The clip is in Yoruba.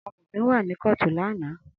Amofin wa ni kootu lana.